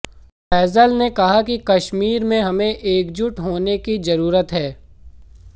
फैसल ने कहा कि कश्मीर में हमें एकजुट होने की जरूरत है